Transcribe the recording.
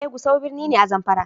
Eh Gusau birni ne, a zamfara.